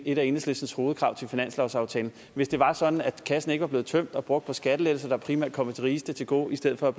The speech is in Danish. et af enhedslistens hovedkrav til finanslovsaftalen hvis det var sådan at kassen ikke var blevet tømt og brugt på skattelettelser der primært er kommet de rigeste til gode i stedet for at